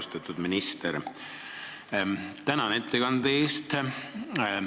Austatud minister, tänan ettekande eest!